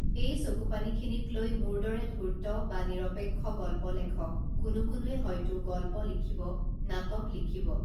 এই চকুপানীখিনিক লৈ মোৰ দৰে ধূৰ্ত বা নিৰপেক্ষ গল্প লেখক কোনো কোনোৱে হয়তো গল্প লিখিব নাটক লিখিব